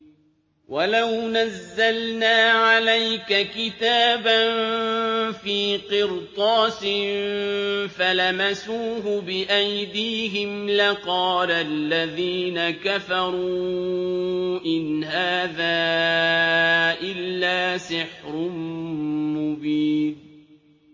وَلَوْ نَزَّلْنَا عَلَيْكَ كِتَابًا فِي قِرْطَاسٍ فَلَمَسُوهُ بِأَيْدِيهِمْ لَقَالَ الَّذِينَ كَفَرُوا إِنْ هَٰذَا إِلَّا سِحْرٌ مُّبِينٌ